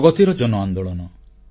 ପ୍ରଗତିର ଜନ ଆନ୍ଦୋଳନ